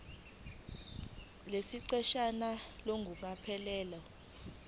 lesi siqeshana ngokucophelela